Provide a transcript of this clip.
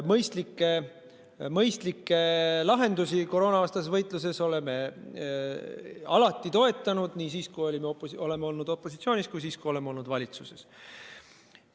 Mõistlikke lahendusi koroonavastases võitluses oleme alati toetanud, nii siis, kui me oleme olnud opositsioonis, kui ka siis, kui oleme olnud valitsuses.